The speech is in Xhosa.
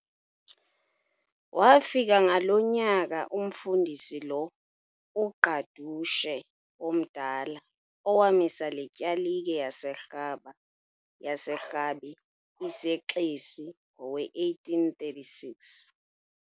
Waafika ngalo nyaka umFundisi lo, uGqadushe omdala owamisa le tyalike yaseRhabe iseXesi ngowe-1836.